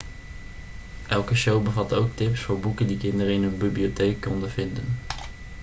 elke show bevatte ook tips voor boeken die kinderen in hun bibliotheek konden vinden